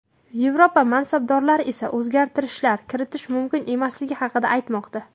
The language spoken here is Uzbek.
Yevropa mansabdorlari esa o‘zgartirishlar kiritish mumkin emasligi haqida aytmoqda.